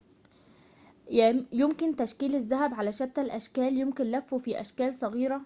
يمكن تشكيل الذهب على شتى الأشكال يمكن لفه في أشكالٍ صغيرة